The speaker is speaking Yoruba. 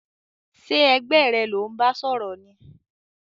Sé ẹgbẹ́ rẹ lò n ba sòrò ni?